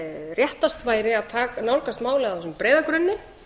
réttast væri að nálgast málið á þessum breiða grunni